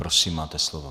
Prosím, máte slovo.